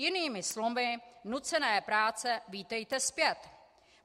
Jinými slovy - nucené práce, vítejte zpět.